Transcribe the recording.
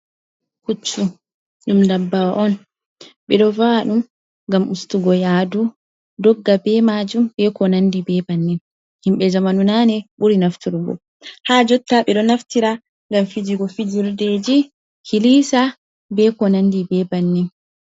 Puccu ɗum dabbawa on. Ɓeɗo va’a ɗum ngam ustugo yaadu, dogga be majum, be ko nandi be bannin. Himɓe jamanu nane ɓuri nafturgo. Ha jotta ɓeɗo naftira ngam fijigo fijirdeji kilisa be ko nandi be bannin.